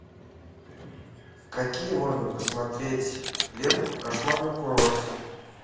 какие можно посмотреть ленту кошмар на курорте